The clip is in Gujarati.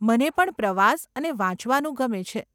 મને પણ પ્રવાસ અને વાંચવાનું ગમે છે.